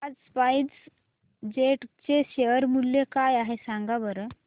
आज SpiceJet चे share मूल्य काय आहे सांगा बरं